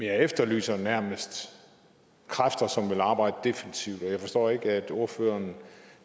jeg efterlyser nærmest kræfter som vil arbejde defensivt og jeg forstår ikke at ordføreren